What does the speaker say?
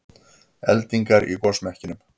Eldingar í gosmekkinum